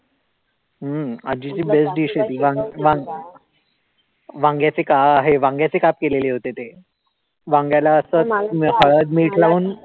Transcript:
हम्म आजीची best dish आहे ती वांग वांग वांग्याचे काप आहे वांग्याचे काप केलेले होते ते वांग्याला असच हळद मीठ लावून